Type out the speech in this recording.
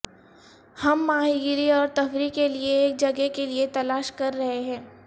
ہم ماہی گیری اور تفریح کے لئے ایک جگہ کے لئے تلاش کر رہے ہیں